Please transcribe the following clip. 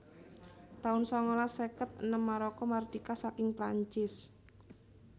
taun sangalas seket enem Maroko mardika saking Prancis